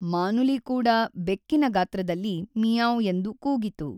ಮಾನುಲಿ ಕೂಡ ಬೆಕ್ಕಿನ ಗಾತ್ರದಲ್ಲಿ ಮಿಯಾಂವ್‌ ಎಂದು ಕೂಗಿತು.